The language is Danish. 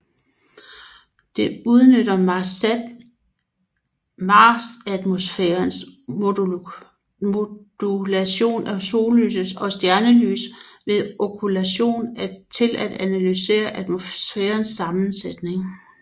Det udnytter marsatmosfærens modulation af sollyset og stjernelys ved okkultationer til at analysere atmosfærens sammensætning